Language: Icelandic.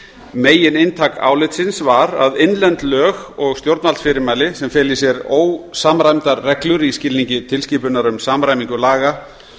megininntak álitsins var að innlend lög og stjórnvaldsfyrirmæli sem fela í sér ósamræmdar reglur í skilningi tilskipunar um samræmingu laga